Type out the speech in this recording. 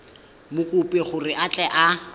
mokopi gore a tle a